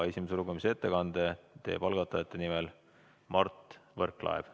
Esimese lugemise ettekande teeb algatajate nimel Mart Võrklaev.